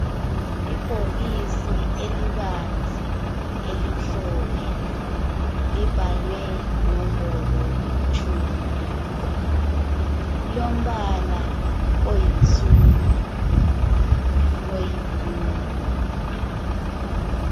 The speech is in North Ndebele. Ibhokisi elibanzi elimhlophe. Libhalwe nombolo tshumi. Lilombala oyinsundu noyi blue.